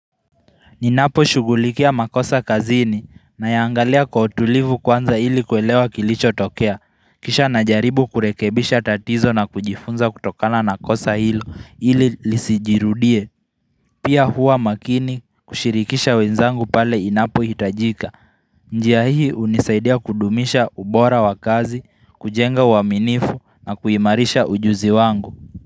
Ninaposhughulikia makosa kazini nayaangalia kwa utulivu kwanza ili kuelewa kilichotokea. Kisha najaribu kurekebisha tatizo na kujifunza kutokana na kosa hilo ili lisijirudie. Pia huwa makini kushirikisha wenzangu pale inapo hitajika. Njia hii hunisaidia kudumisha ubora wa kazi, kujenga uaminifu na kuimarisha ujuzi wangu.